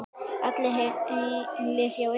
Allir heilir hjá ykkur?